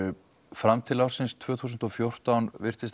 fram til ársins tvö þúsund og fjórtán virtist